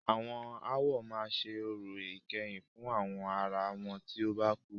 Àwọn awo máa ṣe orò ìkẹyìn fún àwọn ará wọn tí o bá kú.